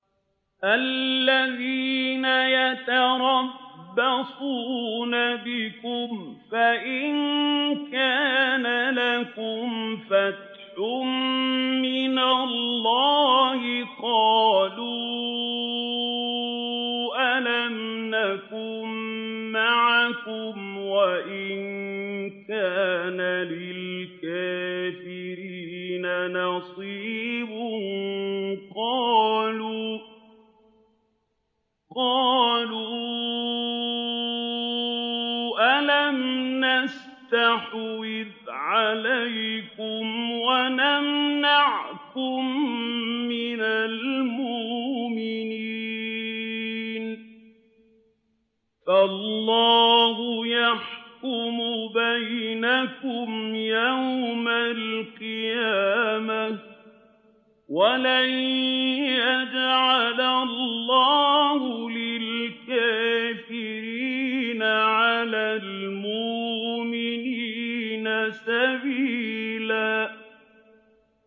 الَّذِينَ يَتَرَبَّصُونَ بِكُمْ فَإِن كَانَ لَكُمْ فَتْحٌ مِّنَ اللَّهِ قَالُوا أَلَمْ نَكُن مَّعَكُمْ وَإِن كَانَ لِلْكَافِرِينَ نَصِيبٌ قَالُوا أَلَمْ نَسْتَحْوِذْ عَلَيْكُمْ وَنَمْنَعْكُم مِّنَ الْمُؤْمِنِينَ ۚ فَاللَّهُ يَحْكُمُ بَيْنَكُمْ يَوْمَ الْقِيَامَةِ ۗ وَلَن يَجْعَلَ اللَّهُ لِلْكَافِرِينَ عَلَى الْمُؤْمِنِينَ سَبِيلًا